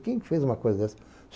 Quem que fez uma coisa dessas?